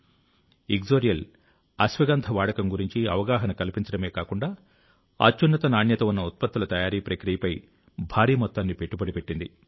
ఇగ్జొరియల్ ఇక్సోరియల్ అశ్వగంధ వాడకం గురించి అవగాహన కల్పించడమే కాకుండా అత్యున్నత నాణ్యత ఉన్న ఉత్పత్తుల తయారీ ప్రక్రియపై భారీ మొత్తాన్ని పెట్టుబడి పెట్టింది